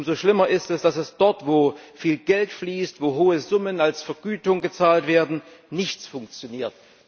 Umso schlimmer ist es, dass dort, wo viel Geld fließt, wo hohe Summen als Vergütung gezahlt werden, nichts funktioniert.